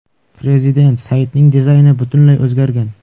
Prezident saytning dizayni butunlay o‘zgargan.